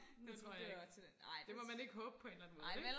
det tror jeg ikke det må man ikke håbe på en eller anden måde ikke